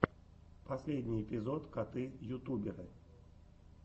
последний эпизод коты ютуберы